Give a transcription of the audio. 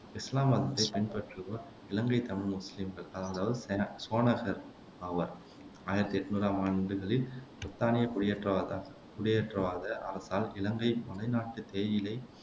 இசுலாம் மதத்தைப் பின்வற்றுவோர் இலங்கைத் தமிழ் முசுலீம்கள் அதாவது சேனசோனகர்கள் ஆவர் ஆயிரத்தி என்னூறாம் ஆண்டுகளில் பிரித்தானிய குடியேற்றவாத குடியேற்றவாத அரசால் இலங்கை மலைநாட்டுத் தேயிலை